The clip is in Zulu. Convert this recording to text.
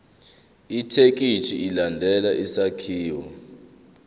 ithekisthi ilandele isakhiwo